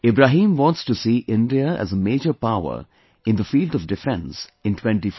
Ibrahim wants to see India as a major power in the field of defence in 2047